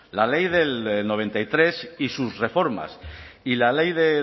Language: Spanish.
la ley del noventa y tres y sus reformas y la ley de